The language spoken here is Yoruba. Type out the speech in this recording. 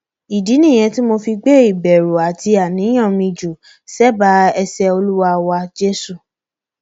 ìdí nìyẹn tí mo fi gbé ìbẹrù àti àníyàn mi jù sẹbàá ẹsẹ olúwa wa jésù